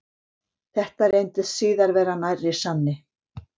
Þetta reyndist síðar vera nærri sanni.